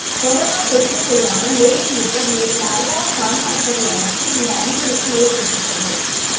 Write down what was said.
corona தொற்றுக்குள்ளான மேலும் இருவர் நேற்று அடையாளம் காணப்பட்டதை அடுத்து இந்த அதிகரிப்பு ஏற்பட்டுள்ளது